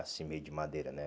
Assim, meio de madeira, né?